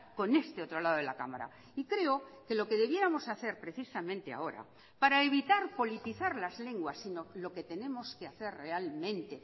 con este otro lado de la cámara y creo que lo que debiéramos hacer precisamente ahora para evitar politizar las lenguas sino lo que tenemos que hacer realmente